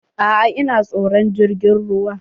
A'a ina tsoron jirgin ruwa.